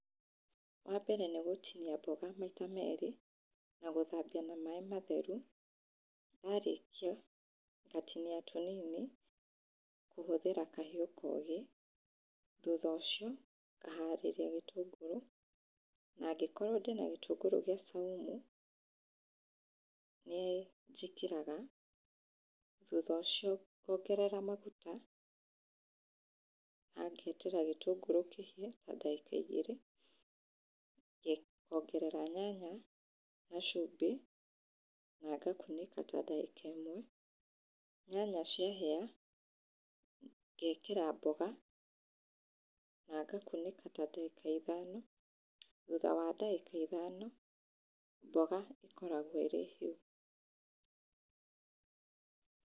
Wa mbere nĩ gũtinia mboga maita mere, na gũthambia na maĩ matheru, warĩkia ngatinia tũnini kũhũthĩra kahiũ koge, thutha ũcio ngaharĩria gĩtũngũrũ na angĩkorwo ndĩna gĩtũngũrũ gĩa caumu, nĩ njĩkĩraga. Thutha ũcio ngongerera maguta na ngeterera gĩtũngũrũ kĩhĩe, na ndagĩka igĩrĩ, ngongerera nyanya na cumbĩ na ngakunĩka ta ndagĩka ĩmwe. Nyanya cia hĩa, ngekera mboga na ngakunĩka ta ndagĩka ithano, thutha wa ndagĩka ithano, mboga ikoragwo irĩ hĩu.